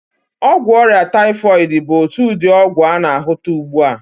Ọgwụ ọrịa taịfọịdị bụ otu ụdị ọgwụ a na-ahụta ụgbụ a.